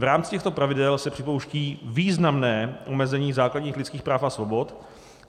V rámci těchto pravidel se připouští významné omezení základních lidských práv a svobod.